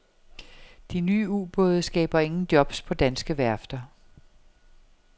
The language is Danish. De nye ubåde skaber ingen jobs på danske værfter.